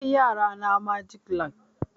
Na kai yara na magic land.